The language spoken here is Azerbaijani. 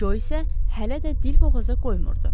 Co isə hələ də dil boğaza qoymurdu.